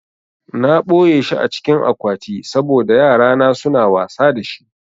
Na ɓoyeshi a cikin akwati saboda yarana suna wasa da shi